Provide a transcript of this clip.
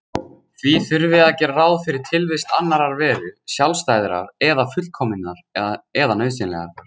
Því þurfi að gera ráð fyrir tilvist annarrar veru, sjálfstæðrar eða fullkominnar eða nauðsynlegrar.